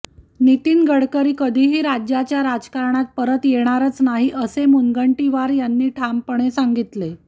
नितीन गडकरी कधीही राज्याच्या राजकारणात परत येणारच नाही असे मुनगंटीवार यांनी ठामपणे सांगितले